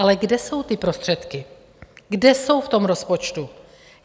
Ale kde jsou ty prostředky, kde jsou v tom rozpočtu?